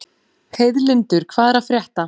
Heiðlindur, hvað er að frétta?